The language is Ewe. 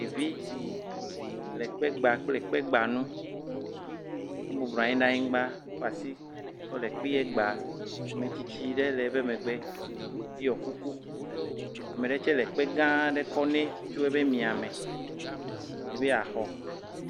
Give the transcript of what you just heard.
Ɖevi le kpe gba kple kpe gbanu. Ebublua nyi ɖe anyigba kɔ asi kɔ le kpea gba. Metsitsi ɖe le eƒe megbe ɖiɔ kuku. Ame ɖe tse le ekpe gã ɖe kɔ ne tso eƒe mia me.